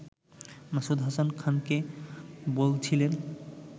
মাসুদ হাসান খানকে বলছিলেন